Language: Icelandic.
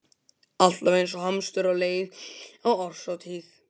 Alltaf eins og hamstur á leið á árshátíð.